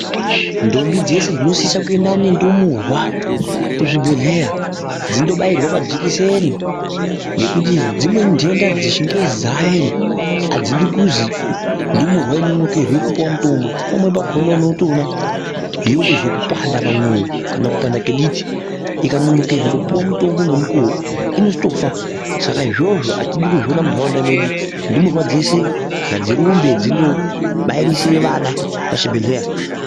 Ntombi dzose dzinosisa kuuya nendumurwa kuzvibhedhlera ,dzindobairwa majekiseni, ngekuti dzimwe ndenda dzechingezi dzaayo idzi adzido kuziva ndumurwa , inonokerwe kupiwa mutombo pamweni pakona unotoona , yoite zvekupanda pamwoyo kana kupanda ngediti ikanonokerwa kupiwa mutombo ngemukowo inozotofa Saka izvozvo atodi kuzviona muntaraunda medu ndumurwa dzeshe ngadzirumbe dzino bairise ana kuzvibhedhlera.